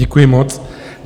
Děkuji moc.